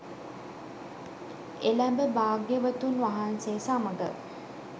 එළැඹ භාග්‍යවතුන් වහන්සේ සමඟ